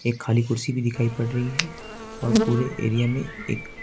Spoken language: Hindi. खाली कुर्सी भी दिखाई पड़ रही है और पूरे एरिया में एक--